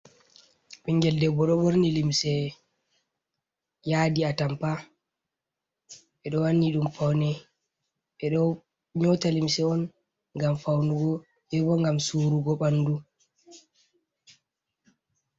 Ɓingel debbo ɗo ɓorni limse, yaadi atampa, ɓe ɗo wanni ɗum paune. Ɓe ɗo nyota limse on ngam faunugo, be bo ngam surugo ɓandu.